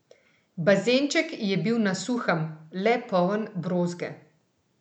Bazenček je bil na suhem, le poln brozge.